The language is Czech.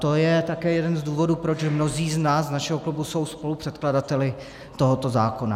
To je také jeden z důvodů, proč mnozí z nás z našeho klubu jsou spolupředkladateli tohoto zákona.